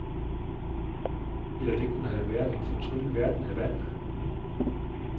Eller det kunne have været en fortryllet verden af vand.